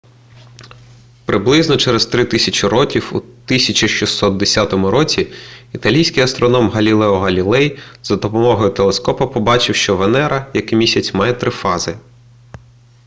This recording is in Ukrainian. приблизно через три тисячі років у 1610 році італійський астроном галілео галілей за допомогою телескопа побачив що венера як і місяць має три фази